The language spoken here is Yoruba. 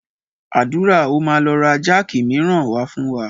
Àdúrà ó máa lọ ra jáàkì miran wá fún wa.